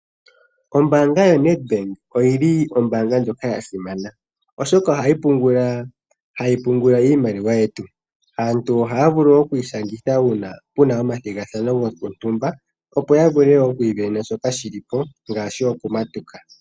Ombaanga yoNedbank oyili Ombaanga ndjono ya simana oshoka ohayi pungula iimaliwa yetu, aantu ohaya vulu oku ishangitha uuna pena omathigathano gotumba opo ya vule oku ivenena shoka shili po ngaashi okumatuka.